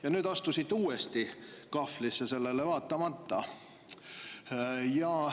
Ja nüüd astusite uuesti kahvlisse sellele vaatamata.